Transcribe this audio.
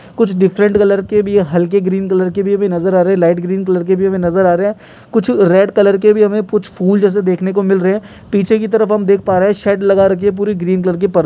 कुछ different colour के भी हैं हलके ग्रीन कलर के भी हमे नजर आ रहे हैं लाइट ग्रीन कलर के भी हमे नजर आ रहे हैं कुछ रेड कलर के हमे कुछ फूल जैसा हमे देखने को मिल रहे है पीछे की तरफ हम देख पा रहे हैं शेड लगा रखी है पूरी ग्रीन कलर की पर --